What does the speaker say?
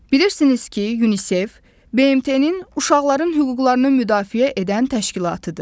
Bilirsiniz ki, UNICEF BMT-nin uşaqların hüquqlarını müdafiə edən təşkilatıdır.